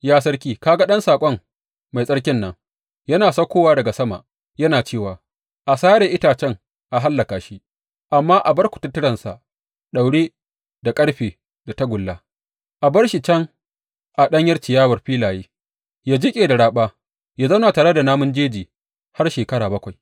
Ya sarki ka ga ɗan saƙon mai tsarkin nan, yana saukowa daga sama yana cewa, A sare itacen a hallaka shi, amma a bar kututturensa daure da ƙarfe da tagulla, a bar shi can a ɗanyar ciyawar filaye, ya jiƙe da raɓa, ya zauna tare da namun jeji har shekara bakwai.’